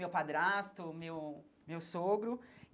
Meu padrasto, meu meu sogro.